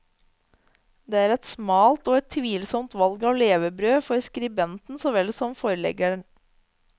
Det er et smalt og et tvilsomt valg av levebrød, for skribenten så vel som forleggeren.